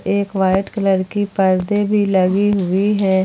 एक white colour की पर्दे भी लगी हुई है।